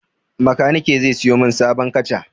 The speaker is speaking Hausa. Makanike zai sayo min sabon kaca.